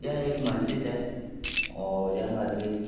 यह एक मस्जिद है और यह मस्ज़िद --